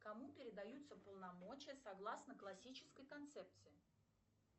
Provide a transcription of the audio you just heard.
кому передаются полномочия согласно классической концепции